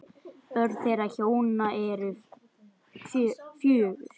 Börn þeirra hjóna eru fjögur.